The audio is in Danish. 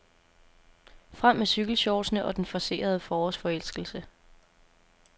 Frem med cykelshortsene og den forcerede forårsforelskelse.